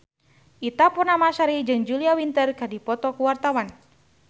Ita Purnamasari jeung Julia Winter keur dipoto ku wartawan